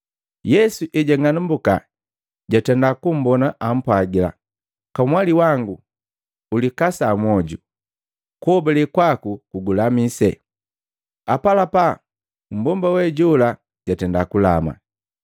Yesu ejang'anumbuka jwatenda kummbona ampwagila, “Kamwali wangu ulikasa mwoju! Kuhobale kwaku kugulamise.” Apalapa mbomba wejola jatenda kulama.